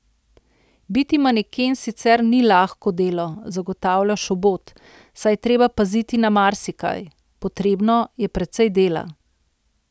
Biti maneken sicer ni lahko delo, zagotavlja Šobot, saj je treba paziti na marsikaj: 'Potrebno je precej dela.